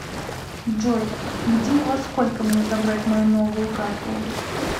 джой где и во сколько мне забрать мою новую карту